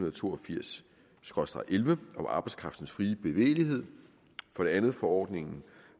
og to og firs om arbejdskraftens frie bevægelighed for det andet forordningen